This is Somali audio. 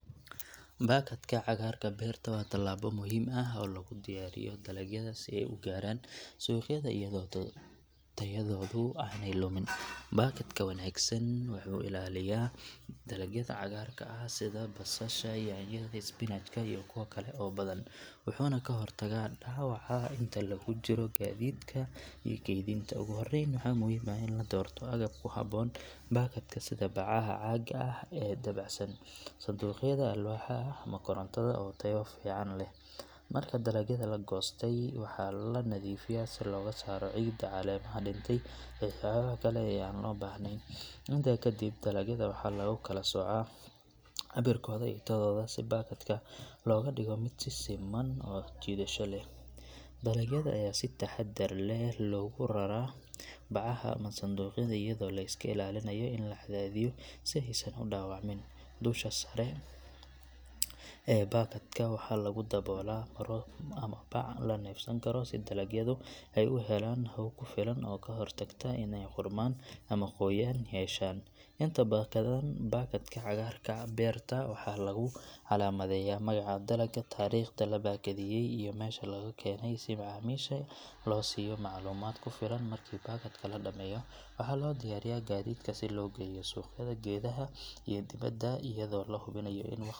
Baakadka cagaarka beerta waa tallaabo muhiim ah oo lagu diyaariyo dalagyada si ay u gaaraan suuqyada iyadoo tayadoodu aanay lumin. Baakadka wanaagsan wuxuu ilaaliyaa dalagyada cagaarka ah sida basasha, yaanyada, isbinaajka iyo kuwo kale oo badan, wuxuuna ka hortagaa dhaawaca inta lagu jiro gaadiidka iyo kaydinta. Ugu horreyn, waxaa muhiim ah in la doorto agab ku habboon baakadka sida bacaha caaga ah ee dabacsan, sanduuqyada alwaaxa ah ama kartoonada oo tayo fiican leh. Marka dalagyada la goostay waxaa la nadiifiyaa si looga saaro ciidda, caleemaha dhintay iyo waxyaabaha kale ee aan loo baahnayn. Intaa kadib, dalagyada waxaa lagu kala soocaa cabirkooda iyo tayadooda si baakadka looga dhigo mid siman oo soo jiidasho leh. Dalagyada ayaa si taxaddar leh loogu raraa bacaha ama sanduuqyada iyadoo la iska ilaalinayo in la cadaadiyo si aysan u dhaawacmin. Dusha sare ee baakadka waxaa lagu daboolaa maro ama bac la neefsan karo si dalagyadu ay u helaan hawo ku filan taasoo ka hortagta in ay qudhmaan ama qoyaan yeeshaan. Inta badan baakadka cagaarka beerta waxaa lagu calaamadeeyaa magaca dalagga, taariikhda la baakadeeyay iyo meesha laga keenay si macaamiisha loo siiyo macluumaad ku filan. Markii baakadka la dhameeyo waxaa loo diyaariyaa gaadiidka si loo geeyo suuqyada gudaha iyo dibadda iyadoo la hubinayo in waqti.